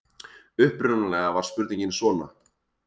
Upprunalega var spurningin svona: